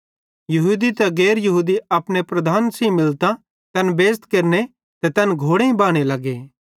यहूदी ते गैर यहूदी अपने प्रधान्न सेइं मिलतां तैन बेइज़त केरने ते तै घोड़ेईं बाने लगे